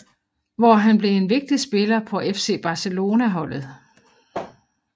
Hvor han blev en vigtig spiller på FC Barcelona holdet